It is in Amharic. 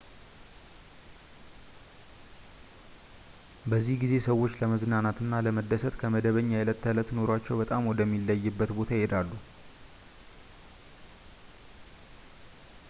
በዚህ ጊዜ ሰዎች ለመዝናናት እና ለመደሰት ከመደበኛ የዕለት ተዕለት ኑሯቸው በጣም ወደሚለይበት ቦታ ይሄዳሉ